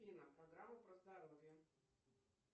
афина программа про здоровье